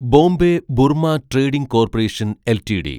Bombay Burma trading corporation LTD